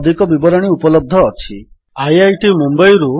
ଏହି ଟ୍ୟୁଟୋରିଆଲ୍ ପ୍ରଦୀପ ଚନ୍ଦ୍ର ମହାପାତ୍ରଙ୍କ ଦ୍ୱାରା ଅନୁବାଦିତ ହୋଇଛି